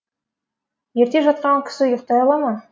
ерте жатқан кісі ұйықтай ала ма